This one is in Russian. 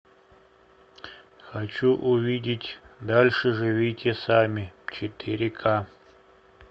хочу увидеть дальше живите сами четыре ка